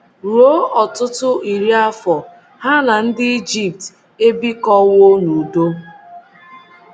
Ruo ọtụtụ iri afọ, ha na ndị Ijipt ebikọwo n’udo.